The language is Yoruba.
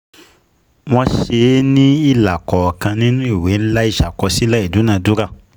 Wọ́n ṣe é ní ilà kọ̀ọ̀kan nínú ìwé ńlá ìṣàkọsílẹ̀ ìdúnadúrà.